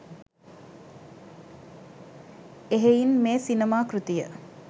එහෙයින් මේ සිනමා කෘතිය